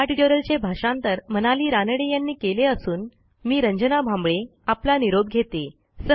ह्या ट्युटोरियलचे भाषांतर मनाली रानडे यांनी केले असून मी रंजना भांबळे आपला निरोप घेते160